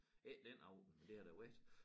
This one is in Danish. Ikke den aften men det har der været